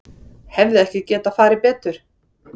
Hefði ekki getað farið betur